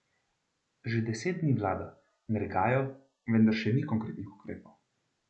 Že deset dni vlada, nergajo, vendar še ni konkretnih ukrepov.